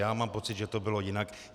Já mám pocit, že to bylo jinak.